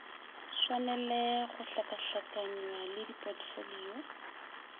swanele go hlakahlakanywa le dipotfolio